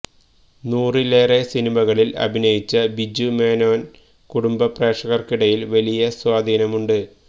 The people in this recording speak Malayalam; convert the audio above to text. നൂറിലേറെ സിനിമകളില് അഭിനയിച്ച ബിജു മേനോന് കുടുംബ പ്രേക്ഷകര്ക്കിടയില് വലിയ സ്വാധീനമുണ്ട്